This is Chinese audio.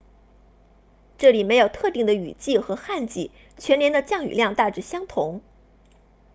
这里没有特定的雨季和旱季全年的降雨量大致相同